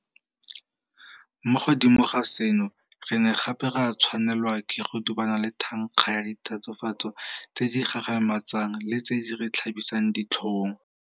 Mo godimo ga seno re ne gape ra tshwanelwa ke go dubana le thankga ya ditatofatso tse di gagamatsang le tse di re tlhabisang ditlhong.